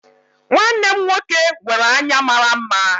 Nwanne m nwoke nwere anya mara mma